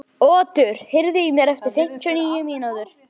Otur, heyrðu í mér eftir fimmtíu og níu mínútur.